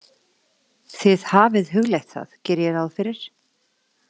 Þið hafið hugleitt það, geri ég ráð fyrir?